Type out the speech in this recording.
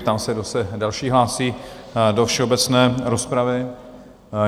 Ptám se, kdo se další hlásí do všeobecné rozpravy.